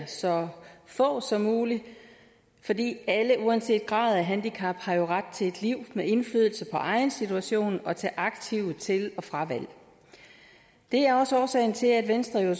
så få som muligt fordi alle uanset grad af handicap jo har ret til et liv med indflydelse på egen situation og til aktive til og fravalg det er også årsagen til at venstre